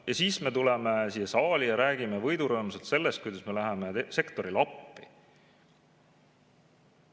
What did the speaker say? Ja siis me tuleme siia saali ja räägime võidurõõmsalt sellest, kuidas me läheme sektorile appi.